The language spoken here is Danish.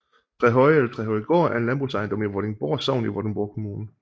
Trehøje eller Trehøjegård er en landbrugsejendom i Vordingborg Sogn i Vordingborg Kommune